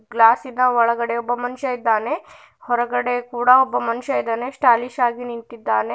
ಗ್ಲಾಸಿನ ಒಳಗಡೆ ಒಬ್ಬ ಮನುಷ್ಯ ಇದ್ದಾನೆ ಹೊರಗಡೆ ಕೂಡ ಒಬ್ಬ ಮನುಷ ಇದಾನೆ ಸ್ಟಾಲಿಶ ಆಗಿ ನಿಂತಿದ್ದಾನೆ.